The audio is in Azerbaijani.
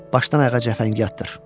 Başdan ayağa cəfəngiyatdır.